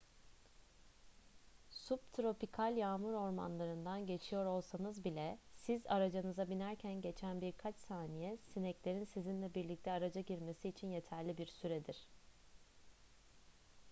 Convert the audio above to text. subtropikal yağmur ormanlarından geçiyor olsanız bile siz aracınıza binerken geçen birkaç saniye sineklerin sizinle birlikte araca girmesi için yeterli bir süredir